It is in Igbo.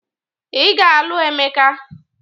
Ị ga-alụ Emeka